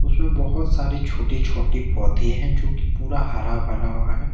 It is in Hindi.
उसमें बहुत सारे छोटे छोटे पौधे हैं जो कि पूरा हरा भरा हुआ है।